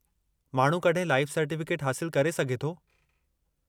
माण्हू कड॒हिं life certificate हासिलु करे सघे थो ?